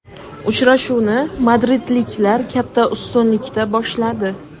Uchrashuvni madridliklar katta ustunlikda boshladi.